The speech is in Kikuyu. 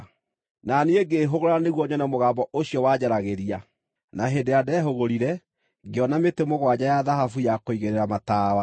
Na niĩ ngĩĩhũgũra nĩguo nyone mũgambo ũcio wanjaragĩria. Na hĩndĩ ĩrĩa ndehũgũrire, ngĩona mĩtĩ mũgwanja ya thahabu ya kũigĩrĩra matawa,